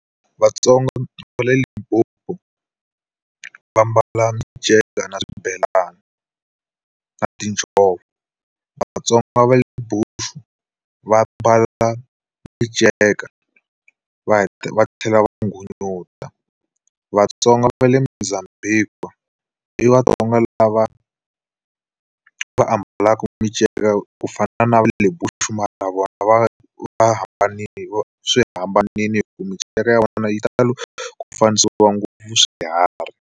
VaTsonga va le Limpopo va ambala minceka na swibelani na tinjhovo. VaTsonga va le Bush-u, va ambala minceka va va tlhela va nghunyuta. VaTsonga va le Mozambique, i va i vaTsonga lava va ambala minceka ku fana na le Bush-u mara vona va va hambanile hikuva swi hambanile minceka ya vona yi tala ku fanisiwa ngopfu swiharhi.